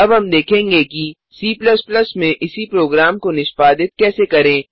अब हम देखेंगे कि C में इसी प्रोग्राम को निष्पादित कैसे करें